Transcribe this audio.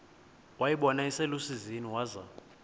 wayibona iselusizini waza